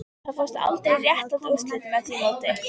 Það fást aldrei réttlát úrslit með því móti